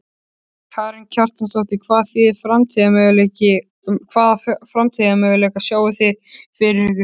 Karen Kjartansdóttir: Hvaða framtíðarmöguleika sjáið þið fyrir ykkur?